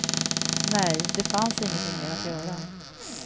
Nej, det fanns ingenting mer att göra.